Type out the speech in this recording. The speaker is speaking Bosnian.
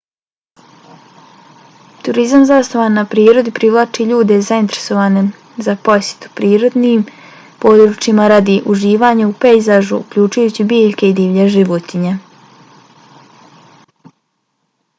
turizam zasnovan na prirodi privlači ljude zainteresovane za posjetu prirodnim područjima radi uživanja u pejzažu uključujući biljke i divlje životinje